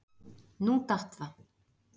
Nú datt það.